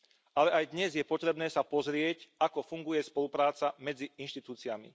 Ale aj dnes je potrebné sa pozrieť, ako funguje spolupráca medzi inštitúciami.